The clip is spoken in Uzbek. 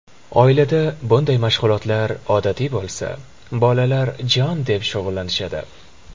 Oilada bunday mashg‘ulotlar odatiy bo‘lsa, bolalar jon deb shug‘ullanishadi.